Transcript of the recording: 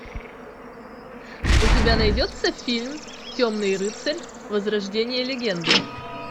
у тебя найдется фильм темный рыцарь возрождение легенды